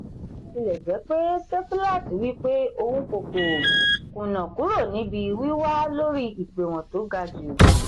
bó tilọ̀ jẹ́ pé sefilaati wí pé òun kò kò kùnà kúrò níbi wíwà́ lórí ìpèwọ̀n tó ga jù.